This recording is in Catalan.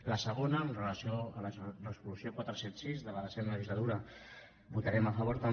a la segona amb relació a la resolució quatre cents i setanta sis de la desena legislatura hi votarem a favor també